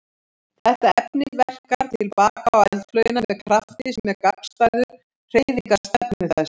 Þetta efni verkar til baka á eldflaugina með krafti sem er gagnstæður hreyfingarstefnu þess.